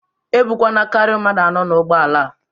E bukwana karịa mmadụ anọ n'ụgbọala!